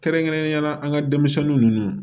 Kɛrɛnkɛrɛnnenyala an ka denmisɛnninw